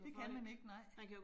Det kan man ikke nej